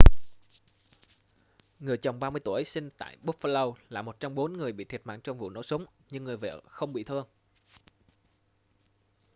người chồng 30 tuổi sinh tại buffalo là một trong bốn người bị thiệt mạng trong vụ nổ súng nhưng người vợ không bị thương